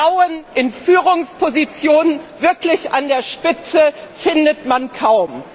Frauen in Führungspositionen wirklich an der Spitze findet man kaum.